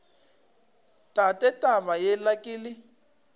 tate taba yela ke le